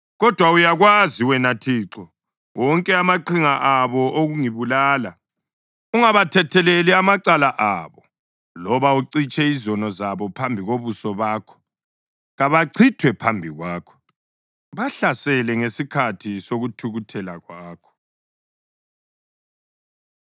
Kodwa uyawazi, wena Thixo, wonke amaqhinga abo okungibulala. Ungabathetheleli amacala abo loba ucitshe izono zabo phambi kobuso bakho. Kabachithwe phambi kwakho; bahlasele ngesikhathi sokuthukuthela kwakho.